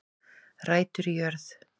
Rætur í jörð